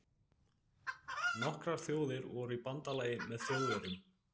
Nokkrar þjóðir voru í bandalagi með Þjóðverjum.